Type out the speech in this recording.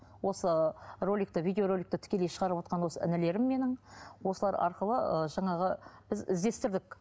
осы роликті видеороликті тікелей шығарып отырған осы інілерім менің осылар арқылы ы жаңағы біз іздестердік